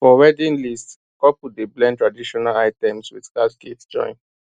for wedding list couple dey blend traditional items with cash gifts join